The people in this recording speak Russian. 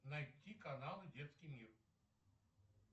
найти канал детский мир